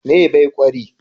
Mai be kwari?